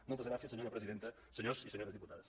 moltes gràcies senyora presidenta senyors i senyores diputades